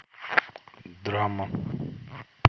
драма